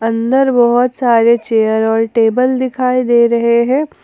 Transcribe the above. अंदर बहोत सारे चेयर और टेबल दिखाई दे रहे है।